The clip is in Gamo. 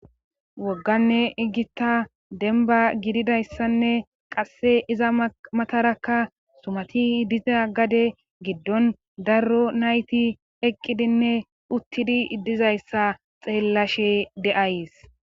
Wogganne igita denba gididayssanne qasse iza matarakka sumati diza gade giddon darro nayti eqqidinne uttidi iddizayssa xeellashe de7ays